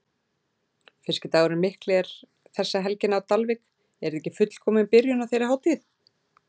Fiskidagurinn Mikli er þessa helgina á Dalvík, er þetta ekki fullkomin byrjun á þeirri hátíð?